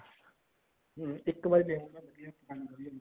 ਹਾਂ ਇੱਕ ਬਾਰੀ ਦੇਖ ਕੇ ਸੰਦ ਵਧੀਆ ਮਿਲ ਜਾਂਦਾ